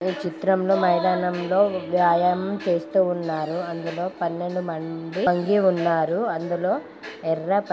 ఈ చిత్రంలో మైదానంలో వ్యాయామం చేస్తూ ఉన్నారు అందులో పన్నెండు మంది వంగి ఉన్నారు అందులో ఎర్ర పచ్చ--